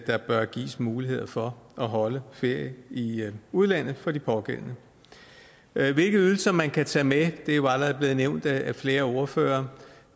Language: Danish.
der bør gives mulighed for at holde ferie i udlandet for de pågældende hvilke ydelser man kan tage med er jo allerede blevet nævnt af flere ordførere